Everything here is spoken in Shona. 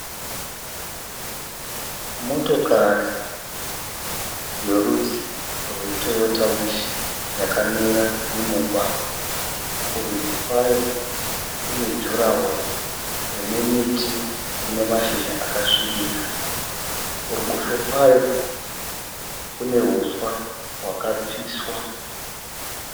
Motokari yerudzi rweToyota Wish yakamira mumugwagwa. Kurudyi kwayo kune jurahoro rinemiti ine mashizha akasvibira. Kuruboshwe kwayo kune huswa hwakapiswa.